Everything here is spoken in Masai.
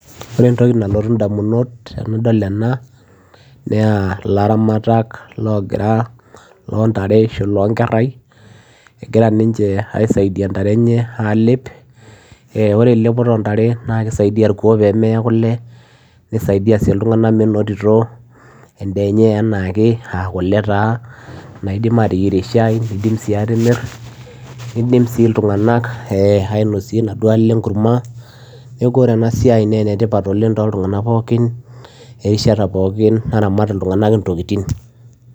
ore entoki nalotu indamunot tenadol ena naa ilaramatak logira lontare ashu ilonkerai egira ninche aisaidia intare enye alep eh ore elepoto ontare naa kisaidia irkuo pemeya kule nisaidia sii iltung'anak menotito endaa enye enaake aa kule taa naidim ateyierie shai nidim sii atimir nidim sii iltung'anak eh ainosie inaduo ale enkurma neku ore ena siai naa enetipat oleng toltung'anak pookin erishata pookin naramat iltung'anak intokiting.